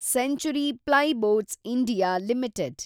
century plyboards (India) limited